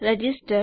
register